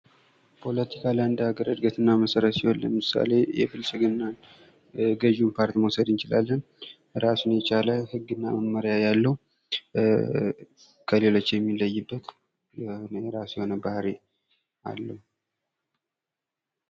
ፖለቲካ ለአንድ ሀገር ዕድገት እና መሰረት ሲሆን ለምሳሌ የብልፅግናን ገዢው ፓርቲ መውሰድ እንችላለን ። ራሱን የቻለ ህግ እና መመሪያ ያለው ከሌሎች የሚለይበት የራሱ የሆነ ባህሪ አለው ።